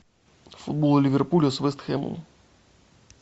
футбол ливерпуля с вест хэмом